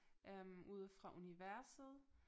Øh ude fra universet